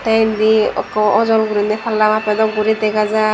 tey indi ekko ajol gorine palla mapay dock gori dagajai.